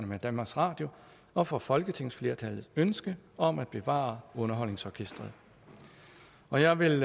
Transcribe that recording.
med danmarks radio og for folketingsflertallets ønske om at bevare underholdningsorkestret og jeg vil